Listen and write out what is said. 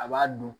A b'a dun